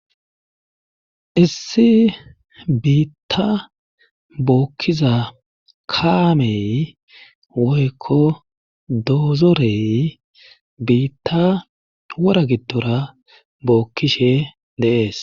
Issi biitta bookkiza kaamey woykko doozorey biitta wora giddora bookkishe deees.